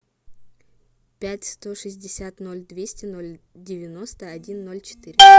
пять сто шестьдесят ноль двести ноль девяносто один ноль четыре